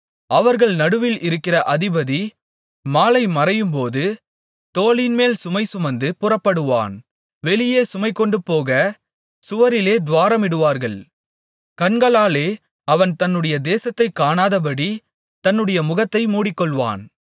அவர்கள் நடுவில் இருக்கிற அதிபதி மாலைமறையும்போது தோளின்மேல் சுமைசுமந்து புறப்படுவான் வெளியே சுமைகொண்டுபோகச் சுவரிலே துவாரமிடுவார்கள் கண்களாலே அவன் தன்னுடைய தேசத்தைக் காணாதபடி தன்னுடைய முகத்தை மூடிக்கொள்வான்